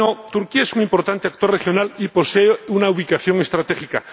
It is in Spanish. Turquía es un importante actor regional y posee una ubicación estratégica.